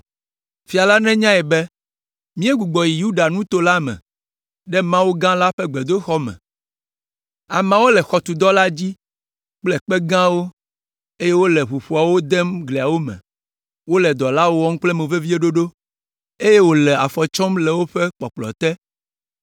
Fia la nenyae be míegbugbɔ yi ɖe Yuda nuto la me, ɖe Mawu gã la ƒe gbedoxɔ me. Ameawo le xɔtudɔ la dzi kple kpe gãwo, eye wole ʋuƒoawo dem gliawo me. Wole dɔ la wɔm kple moveviɖoɖo, eye wòle afɔ tsɔm le woƒe kpɔkplɔ te.